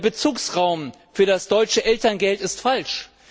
Der Bezugsraum für das deutsche Elterngeld ist falsch.